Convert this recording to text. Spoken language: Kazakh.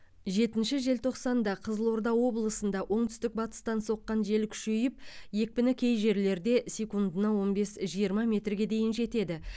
жетінші желтоқсанда қызылорда облысында оңтүстік батыстан соққан жел күшейіп екпіні кей жерлерде секундына он бес жиырма метрге дейін жетеді